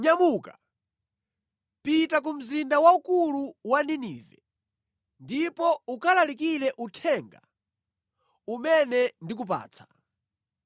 “Nyamuka, pita ku mzinda waukulu wa Ninive ndipo ukalalikire uthenga umene ndikupatsa.”